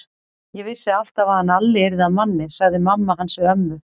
Ég vissi alltaf að hann Alli yrði að manni, sagði mamma hans við ömmu.